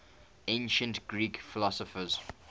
ancient greek philosophers